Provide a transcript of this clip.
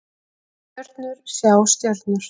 Stjörnur sjá stjörnur